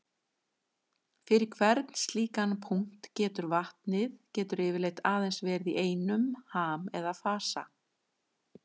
Fyrir hvern slíkan punkt getur vatnið getur yfirleitt aðeins verið í einum ham eða fasa.